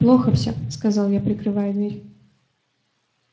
плохо всё сказал я прикрывая дверь